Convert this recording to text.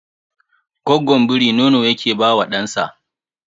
Gwaggon biri nono yake ba wa ɗansa